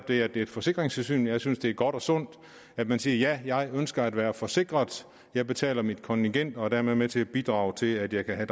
det er et forsikringssystem jeg synes det er godt og sundt at man siger ja jeg ønsker at være forsikret jeg betaler mit kontingent og er dermed med til at bidrage til at jeg kan